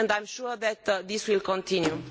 I am sure that this will continue.